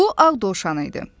Bu ağ dovşan idi.